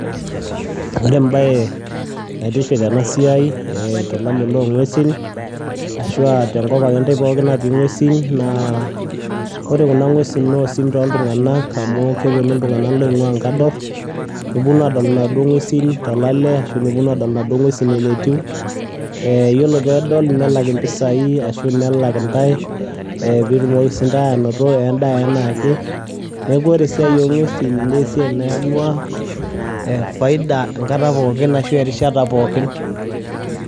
Ore baye natiship ena siai eeh tona liilo enkuesin ashuu te nkopang itee natii kwuesin. Naa ore kuna nkuesin nosuum to ltung'anak amu keeponu ltung'anak leing'uaa nkaadoor, neponuu adool anadoo nkuesin talalee ashoo nopoo adol anadoo nkuesin eneetuu. Eeh yieloo pee adol neelak mpisai ashuu nalaak ntai piitumoki sii ntaai ananotoo ndaa enaa ake. Naaku ore siaa enkwuesin naa siai naing'uaa e faidaa nkaata pookin arashu rishaat pokiin.